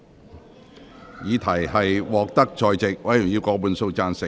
我認為議題獲得在席議員以過半數贊成。